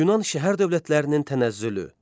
Yunan şəhər dövlətlərinin tənəzzülü.